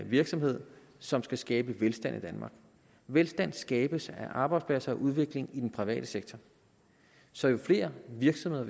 virksomhed som skal skabe velstand i danmark velstand skabes af arbejdspladser og udvikling i den private sektor så jo flere virksomheder